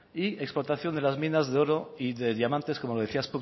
y explotación de las minas de oro y de diamantes como lo decía